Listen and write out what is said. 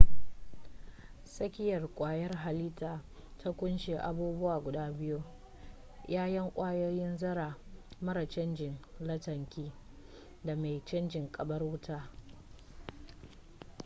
tsakiya kwayar halittar ta kunshi abubuwa guda biyu-yayan kwayoyin zarra mara cajin lantarki da mai caji karbar wuta